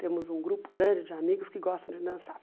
Temos um grupo grande de amigos que gostam de dançar.